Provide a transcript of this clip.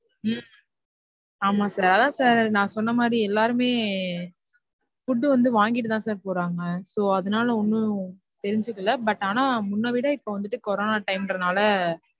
உம் ஆமா sir அதான் sir நான் சொன்னதுமாதிரி எல்லாருமே food வந்து வாங்கிட்டு தான் sir போறாங்க. so அதுனால ஒன்னும் தெரிஞ்சுக்கல but ஆனா இப்ப முன்னவிட இப்ப corona time ண்றதுனால,